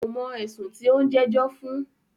Kò mọ̀ ẹ̀sùn tí o ń jẹ́jọ́ fún.